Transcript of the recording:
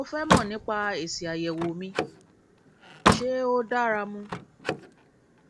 mo fẹ mọ nípa èsì àyẹwò mi ṣé ó dára mu